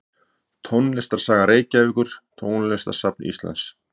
Tónlistarsaga Reykjavíkur Tónlistarsafn Íslands.